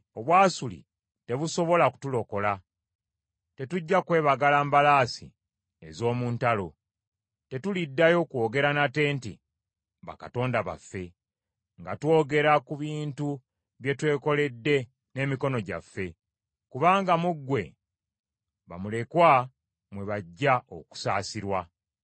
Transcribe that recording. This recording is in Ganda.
Obwasuli tebusobola kutulokola; Tetujja kwebagala mbalaasi ez’omu ntalo. Tetuliddayo kwogera nate nti, ‘Bakatonda baffe,’ nga twogera ku bintu bye twekoledde n’emikono gyaffe, kubanga mu ggwe, bamulekwa mwe bajja okusaasirwa.”